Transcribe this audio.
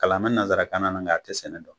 Kalan mɛ nansarakan na nka a tɛ sɛnɛ dɔn.